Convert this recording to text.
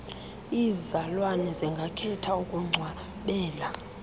iizalwane zingakhetha ukungcwabela